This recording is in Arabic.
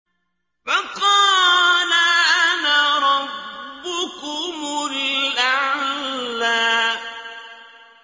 فَقَالَ أَنَا رَبُّكُمُ الْأَعْلَىٰ